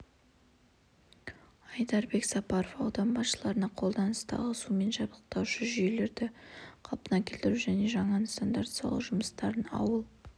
айдарбек сапаров аудан басшыларына қолданыстағы сумен жабдықтаушы жүйелерді қалпына келтіру және жаңа нысандарды салу жұмыстарын ауыл